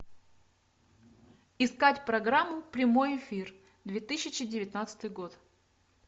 искать программу прямой эфир две тысячи девятнадцатый год